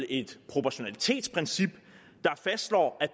et proportionalitetsprincip der fastslår at